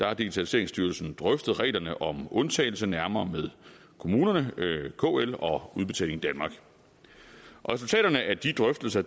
har digitaliseringsstyrelsen drøftet reglerne om undtagelse nærmere med kommunerne kl og udbetaling danmark resultaterne af de drøftelser